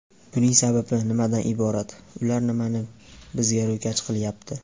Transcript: Buning sababi nimadan iborat, ular nimani bizga ro‘kach qilyapti?